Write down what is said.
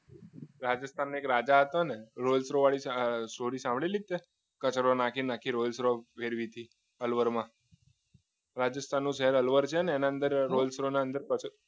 હા આ તો mercedes ની value છે mercedes રાજસ્થાન નો એક રાજા હતો ને rolls roy વાળી સ્ટોરી સાંભળી છે કચરો નાખીને rolls roy મેળવી હતી એમાં